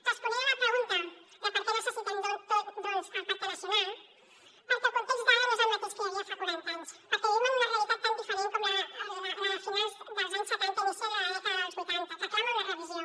responent a la pregunta de per què necessitem doncs el pacte nacional perquè el context d’ara no és el mateix que hi havia fa quaranta anys perquè vivim en una realitat tan diferent com la de finals dels anys setanta i inicis de la dècada dels vuitanta que clama una revisió